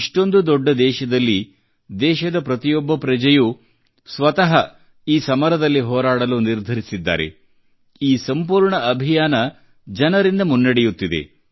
ಇಷ್ಟೊಂದು ದೊಡ್ಡ ದೇಶದಲ್ಲಿ ದೇಶದ ಪ್ರತಿಯೊಬ್ಬ ಪ್ರಜೆಯೂ ಸ್ವತಃ ಈ ಸಮರದಲ್ಲಿ ಹೋರಾಡಲು ನಿರ್ಧರಿಸಿದ್ದಾರೆ ಈ ಸಂಪೂರ್ಣ ಅಭಿಯಾನ ಜನರಿಂದ ಮುನ್ನಡೆಯುತ್ತಿದೆ